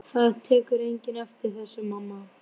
Það tekur enginn eftir þessu, mamma.